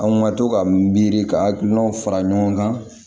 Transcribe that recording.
An ka to ka miiri ka hakilinaw fara ɲɔgɔn kan